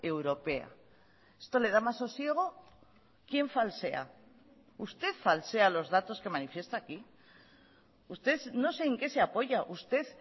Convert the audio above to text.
europea esto le da más sosiego quién falsea usted falsea los datos que manifiesta aquí usted no sé en qué se apoya usted